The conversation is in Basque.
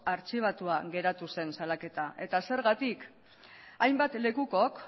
artxibatua geratu zen salaketa eta zergatik hainbat lekukok